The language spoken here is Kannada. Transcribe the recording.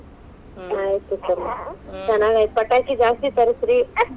ಹ್ಮ್ ಆಯ್ತ್ ತಗೋರಿ . ಪಟಾಕಿ ಜಾಸ್ತೀ ತರಸ್ರಿ .